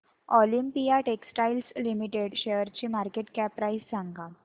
Olympia textiles limited शेअरची market cap price सांगा